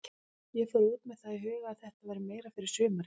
Ég fór út með það í huga að þetta væri meira fyrir sumarið.